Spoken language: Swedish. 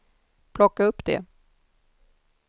plocka upp det